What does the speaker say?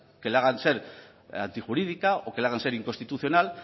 que le hagan ser antijurídica o que le hagan ser inconstitucional